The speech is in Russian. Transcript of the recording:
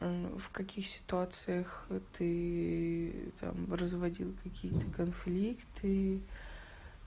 в каких ситуациях ты там разводил какие-то конфликты